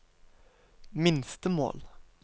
minstemål